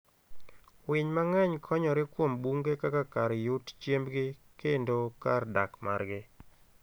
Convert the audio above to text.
Winy mang'eny konyore kuom bunge kaka kar yut chiembgi kendo kar dak margi